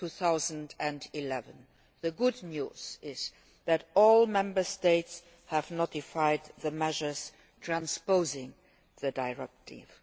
2011. The good news is that all Member States have announced the measures transposing the directive.